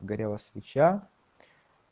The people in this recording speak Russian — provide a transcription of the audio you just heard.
горела свеча